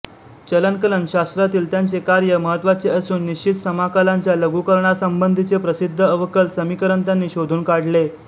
चलनकलनशास्त्रातील त्यांचे कार्य महत्त्वाचे असून निश्चित समाकलांच्या लघुकरणासंबंधीचे प्रसिद्ध अवकल समीकरण त्यांनी शोधून काढले